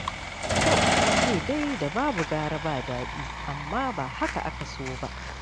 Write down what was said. To an ce dai da babu gara ba daɗi, amma dai ba haka aka so ba.